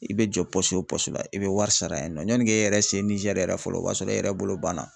I be jɔ o la i bɛ wari sara yen nɔ yani k'e yɛrɛ se Niger yɛrɛ fɔlɔ o b'a sɔrɔ e yɛrɛ bolo banna.